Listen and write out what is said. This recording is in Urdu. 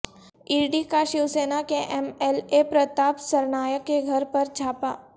ای ڈی کاشیوسینا کے M L A Pratap Sarnaik کے گھر پر چھاپہ